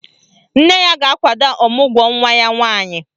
Nne ya ga-akwado ọmụgwọ nwa ya nwaanyị